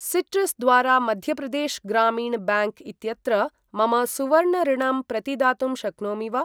Citrus द्वारा Madhya Pradesh Gramin bank इत्यत्र मम सुवर्ण ऋणम् प्रतिदातुं शक्नोमि वा?